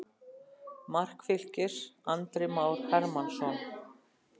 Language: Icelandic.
Mark Fylkis: Andri Már Hermannsson.